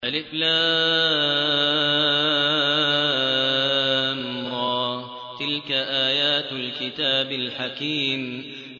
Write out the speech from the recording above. الر ۚ تِلْكَ آيَاتُ الْكِتَابِ الْحَكِيمِ